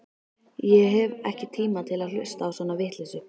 Ég hef ekki tíma til að hlusta á svona vitleysu.